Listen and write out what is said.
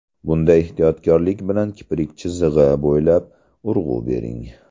Bunda ehtiyotkorlik bilan kiprik chizig‘i bo‘ylab urg‘u bering.